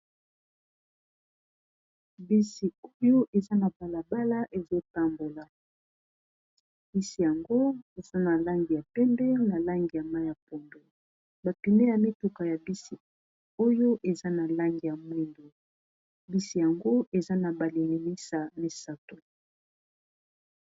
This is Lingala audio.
bisi oyo eza na balabala ezotambola bisi yango osana langi ya pende na langi ya mai ya pondo bapune ya mituka ya bisi oyo eza na langi ya mwindo bisi yango eza na baliimisa misato